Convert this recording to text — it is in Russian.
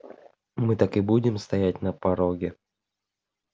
мы так и будем стоять на пороге